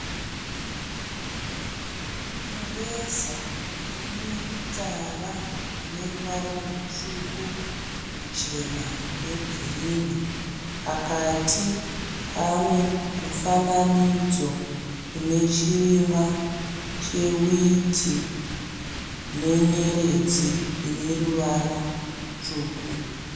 Mureza une mitsara ine ruvara rutsvuku, ruchena negirinhi. Pakati pane mufananidzo une chirimwa chehwiti nenyeredzi ine ruvara rutsvuku.